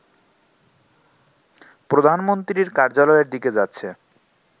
প্রধানমন্ত্রীর কার্যালয়ের দিকে যাচ্ছে